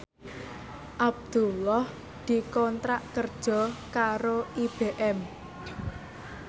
Abdullah dikontrak kerja karo IBM